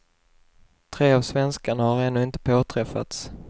Tre av svenskarna har ännu inte påträffats.